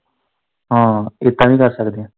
ਹਾਂ ਏਦਾ ਵੀ ਕਰ ਸਕਦੇ।